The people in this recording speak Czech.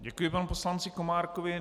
Děkuji panu poslanci Komárkovi.